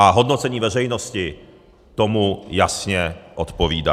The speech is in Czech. A hodnocení veřejnosti tomu jasně odpovídá.